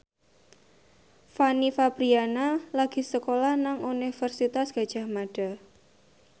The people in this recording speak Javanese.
Fanny Fabriana lagi sekolah nang Universitas Gadjah Mada